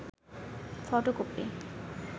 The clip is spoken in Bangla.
ফটোকপি